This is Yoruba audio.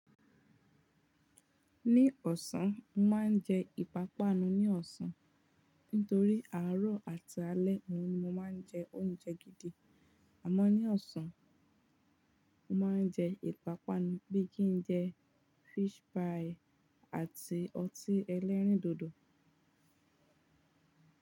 Ní ọ̀sán, mọ máa ń jẹ ìpápánu ní ọ̀sán. Nítorí àárọ̀ àti alẹ́ ni mọ máa ń jẹ oúnjẹ gidi. Àmọ́ ní ọ̀sán, mọ máa ń jẹ ìpápánu bí kí n jẹ fish pie àti ọtí ẹlẹ́rìndòdò.